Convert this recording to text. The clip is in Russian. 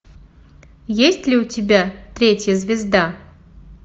есть ли у тебя третья звезда